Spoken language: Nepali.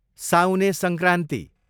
साउने सङ्क्रान्ति